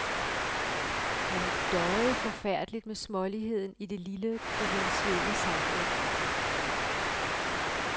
Han døjede forfærdeligt med småligheden i det lille provinsielle samfund.